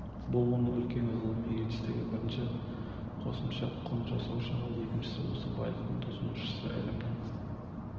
бұл оның үлкен ғылыми жетістігі бірінші қосымша құн жасаушы ал екінші осы байлықты тұтынушы ілімінің